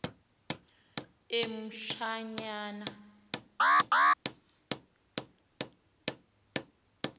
emtshanyana